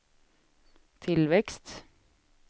tillväxt